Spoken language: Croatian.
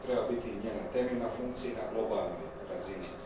To treba biti njena temeljna funkcija i na globalnoj razini.